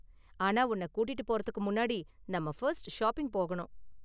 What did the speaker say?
ஆனா உன்ன கூட்டிட்டு போறதுக்கு முன்னாடி நாம ஃபர்ஸ்ட் ஷாப்பிங் போகணும்.